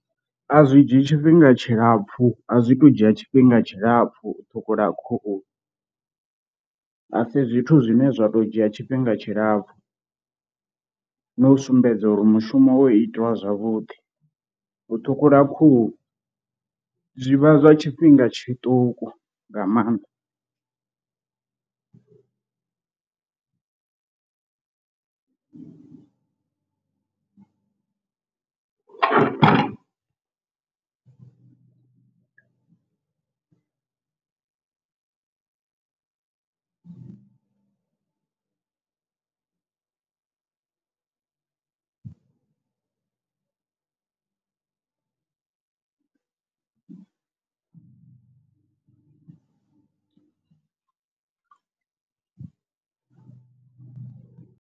A zwi dzhii tshifhinga tshilapfu a zwi to dzhia tshifhinga tshilapfu u ṱhukhula khuhu, a si zwithu zwine zwa to dzhia tshifhinga tshilapfu no u sumbedza uri mushumo wo itiwa zwavhuḓi, u ṱhukhula khuhu zwivha zwa tshifhinga tshiṱuku nga maanḓa.